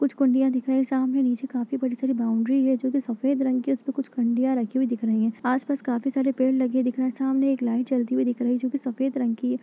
कुछ कुँडिया दिख रही हैं। सामने नीचे काफी बड़ी सारी बाउंड्री है जोकि सफ़ेद रंग की है। उस पर कुछ कुँडिया रखी हुई दिख रही हैं। आस पास काफी सारे पेड़ लगे दिख रहे हैं। सामने एक लाइट जलती हुई दिख रही है जोकि सफेद रंग की है।